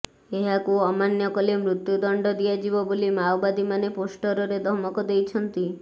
ଏହାକୁ ଅମାନ୍ୟ କଲେ ମୃତ୍ୟୁ ଦଣ୍ଡ ଦିଆଯିବ ବୋଲି ମାଓବାଦୀମାନେ ପୋଷ୍ଟରରେ ଧମକ ଦେଇଛନ୍ତି